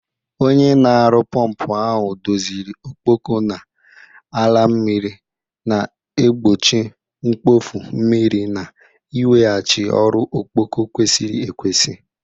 Onye na-aru pọmpụ ahụ doziri ọkpọkọ na-ala mmiri, na-egbochi mkpofu mmiri na iweghachi ọrụ ọkpọkọ kwesịrị ekwesị.